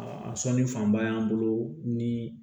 Aa a sɔnni fanba y'an bolo ni